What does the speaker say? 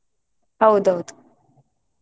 ಹೌದು ಹೌದು.